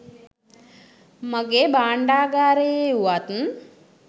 මගේ භාණ්ඩාගාරයේ වුවත්